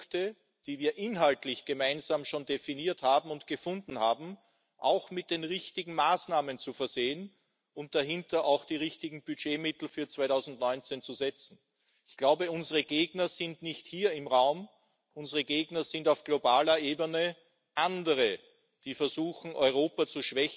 so ist, muss klar sein, wer Vorfahrt hat, wo Einbahnstraßen sind, mit welchem Tempo man losmachen kann. Und die Regelungen müssen natürlich überall gelten. Sonst geht es nicht. Datenverkehr hat nun mal keine Grenzen. Anliegen dieser Verordnung ist nun die Umsetzung des Datenschutzpakets wenn man so will in den europäischen